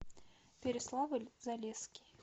переславль залесский